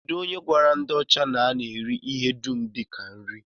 Kedụ onye gwara ndị ọcha na a na-eri ihe dum dịka nri?